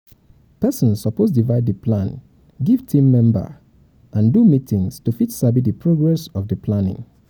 persin suppose divide di plan give team member and do meetings to fit sabi di progress of di planning